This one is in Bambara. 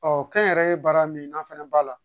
kɛnyɛrɛye baara min n'an fɛnɛ b'a la